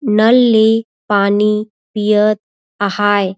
नल ली पानी पिए आहाये--